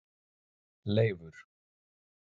Leifur